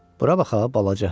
Bura bax ha, balaca.